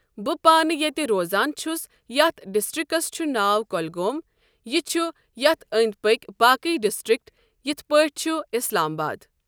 بہٕ پانہٕ ییٚتہِ روزان چھُس یتھ ڈِسٹکٹرکٹس چھُ ناو کۄلگوم یہِ چھُ یتھ أند پکۍ باقٕے ڈِسٹِرکٹ یتھ پاٹھۍ چھ اسلاآمباد۔